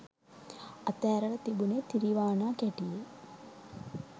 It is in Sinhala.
අත ඇරලා තිබුනේ තිරිවානාකැටියේ